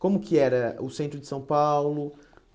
Como que era o centro de São Paulo?